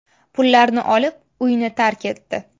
Pullarni olib, uyni tark etdi.